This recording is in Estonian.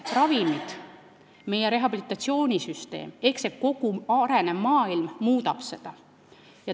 Ravimid ja meie rehabilitatsioonisüsteem ehk kogu see arenev maailm muudab seda.